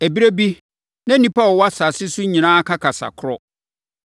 Ɛberɛ bi, na nnipa a wɔwɔ asase so nyinaa ka kasa korɔ.